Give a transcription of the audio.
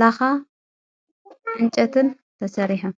ላኻ ዕንጨትን ተሰሪሖም።